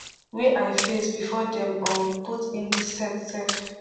wey i face bifor dem um put in di set sef